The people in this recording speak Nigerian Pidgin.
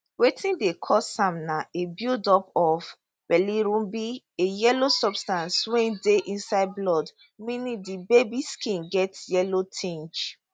wetin dey cause am na a buildup of bilirubin a yellow substance wey dey inside blood meaning di baby skin get yellow tinge